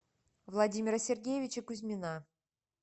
владимира сергеевича кузьмина